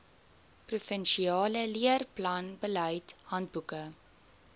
provinsiale leerplanbeleid handboeke